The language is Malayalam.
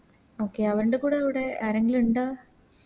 Okay അവര്ൻറെ കൂടെ ആരെങ്കിലു ഇണ്ട